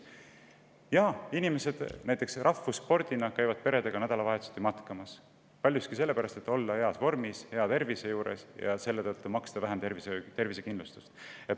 Rahvusspordina käivad inimesed peredega nädalavahetuseti matkamas, paljuski sellepärast, et olla heas vormis, hea tervise juures ja maksta vähem tervisekindlustust.